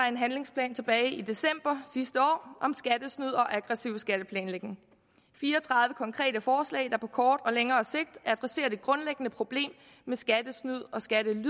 en handlingsplan tilbage i december sidste år om skattesnyd og aggressiv skatteplanlægning fire og tredive konkrete forslag der på kort og længere sigt adresserer det grundlæggende problem med skattesnyd og skattely og